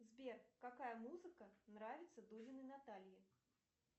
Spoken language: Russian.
сбер какая музыка нравится дулиной наталье